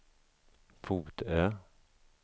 Fotö